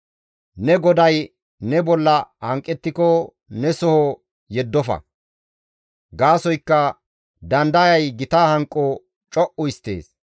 Ne goday ne bolla hanqettiko ne soho yeddofa; gaasoykka dandayay gita hanqo co7u histtees.